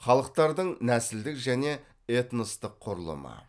халықтардың нәсілдік және этностық құрылымы